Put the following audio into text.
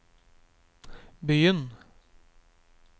begynn